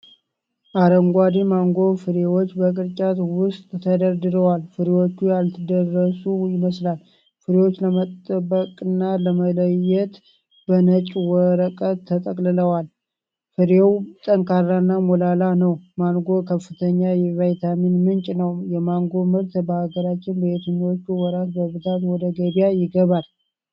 አረንጓዴ ማንጎ ፍሬዎች በቅርጫት ውስጥ ተደርድረዋል። ፍሬዎቹ ያልደረሱ ይመስላል። ፍሬዎቹን ለመጠበቅና ለመለየት በነጭ ወረቀት ተጠቅልለዋል። ፍሬው ጠንካራና ሞላላ ነው። ማንጎ ከፍተኛ የቪታሚኖች ምንጭ ነው። የማንጎ ምርት በሀገራችን በየትኞቹ ወራት በብዛት ወደ ገበያ ይገባል?